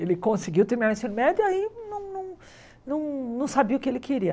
Ele conseguiu terminar o ensino médio aí não não não não sabia o que ele queria.